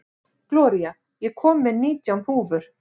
Gloría, ég kom með nítján húfur!